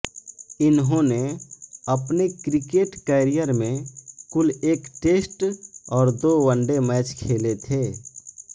इन्होंने अपने cricket career में कुल एक टेस्ट और दो वनडे मैच खेले थे